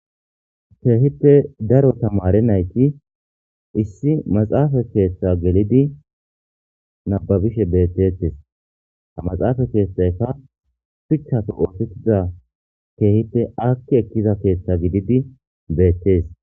keehippe daro tamare nayti issi maxaafa keeththa gelidi nababishe bettetes a maxaafa keeththayka phichafe oosettiza keehippe akki ekkiza keeththa gididi beettees